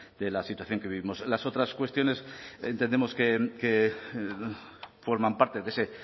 de la situación que vivimos las otras cuestiones entendemos que forman parte de ese